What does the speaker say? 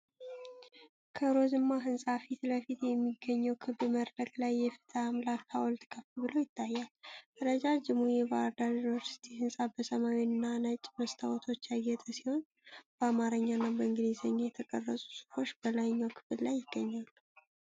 ከሮዝማ ህንጻ ፊት ለፊት በሚገኘው ክብ መድረክ ላይ የፍትህ አምላክ ሃውልት ከፍ ብሎ ይታያል። ረጃጅሙ የባህር ዳር ዩኒቨርሲቲ ህንጻ በሰማያዊና ነጭ መስታወቶች ያጌጠ ሲሆን፣ በአማርኛና በእንግሊዝኛ የተቀረጹ ጽሁፎች በላይኛው ክፍል ላይ ይገኛሉ።